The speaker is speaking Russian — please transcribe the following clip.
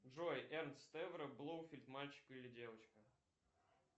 джой эн стевро блоуфит мальчик или девочка